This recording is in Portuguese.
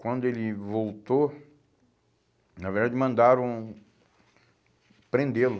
Quando ele voltou, na verdade, mandaram prendê-lo.